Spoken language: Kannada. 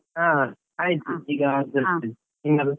ಹಾ ಆಯ್ತು, ಈಗ ಆದದಷ್ಟೇ. ನಿಮ್ಮದು?